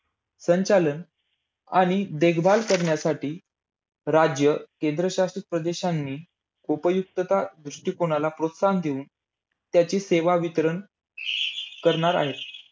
संचालन आणि देखभाल करण्यासाठी राज्य केंद्र शासित प्रदेशांनी उपयुक्तता दृष्टिकोनाला प्रोत्साहन देऊन त्याची सेवा वितरण करणार आहे.